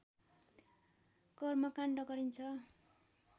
कर्मकाण्ड गरिन्छ